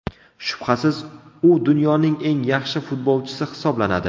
Shubhasiz, u dunyoning eng yaxshi futbolchisi hisoblanadi.